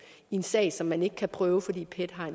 i en sag som man ikke kan prøve fordi pet har en